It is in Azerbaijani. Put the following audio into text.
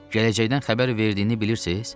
Gələcəkdən xəbər verdiyini bilirsiz?